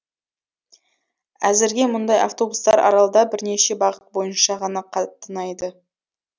әзірге мұндай автобустар аралда бірнеше бағыт бойынша ғана қатынайды